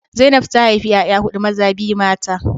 Zainab ta haifi 'ya'ya hudu, maza biyu mata